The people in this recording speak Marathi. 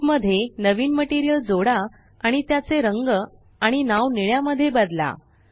क्यूब मध्ये नवीन मटेरियल जोडा आणि त्याचे रंग आणि नाव निळ्या मध्ये बदला